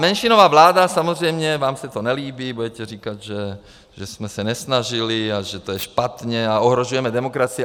Menšinová vláda samozřejmě - vám se to nelíbí, budete říkat, že jsme se nesnažili a že to je špatně a ohrožujeme demokracii.